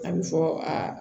A bɛ fɔ aa